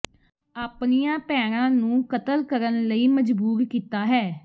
ਆਪਣੀਆਂ ਭੈਣਾਂ ਨੂੰ ਕਤਲ ਕਰਨ ਵਿਚ ਮਜਬੂਰ ਕੀਤਾ ਹੈ